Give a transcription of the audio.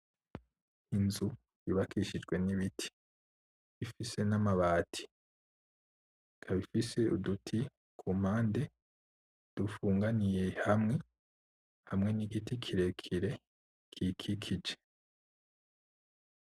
Inzu yubakishijwe n'ibiti ifise n'amabati, ikaba ifise uduti kumpande dufunganiye hamwe, hamwe n'igiti kirekire kiyikikije.